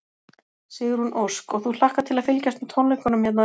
Sigrún Ósk: Og þú hlakkar til að fylgjast með tónleikunum hérna á eftir?